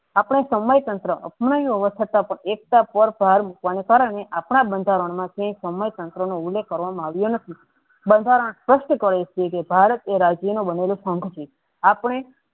આપણે સમય તંત્ર અપનાવી હોવા છતાં એકતા પાર ભાર આપણા બંધારણ સમય તંત્ર નો ઉલ્લેખ કરવામાં આવ્યો નથી બંધારણ સ્પષ્ટ કરે છે કે ભારત એ રાજ્ય આપણે